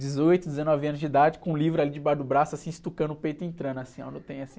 Dezoito, dezenove anos de idade, com um livro ali debaixo do braço, assim, estucando o peito e entrando assim, ó. No trem assim...